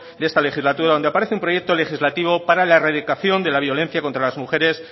de esta legislatura donde aparece un proyecto legislativo para la erradicación de la violencia contra las mujeres